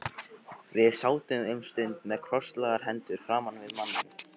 Við sátum um stund með krosslagðar hendur framan við manninn.